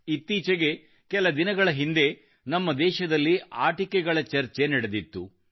ಇತ್ತೀಚೆಗೆ ಕೆಲ ದಿನಗಳ ಹಿಂದೆ ನಮ್ಮ ದೇಶದಲ್ಲಿ ಆಟಿಕೆಗಳ ಚರ್ಚೆ ನಡೆದಿತ್ತು